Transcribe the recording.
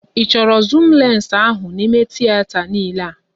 Ị chọrọ zuum lensị ahụ n'ímé tieta niile a?